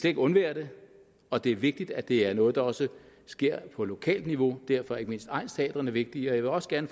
ikke undvære det og det er vigtigt at det er noget der også sker på lokalt niveau derfor er ikke mindst egnsteatrene vigtige jeg vil også gerne